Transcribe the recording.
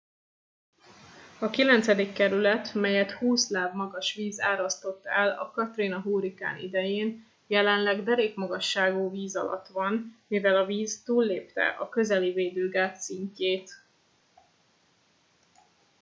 a kilencedik kerület melyet 20 láb magas víz árasztott el a katrina hurrikán idején jelenleg derékmagasságú víz alatt van mivel a víz túllépte a közeli védőgát szintjét